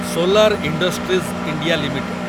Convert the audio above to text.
solar industries India limited